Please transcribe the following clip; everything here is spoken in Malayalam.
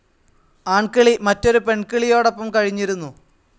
ആൺകിളി മറ്റൊരു പെൺകിളിയോടൊപ്പം കഴിഞ്ഞിരുന്നു.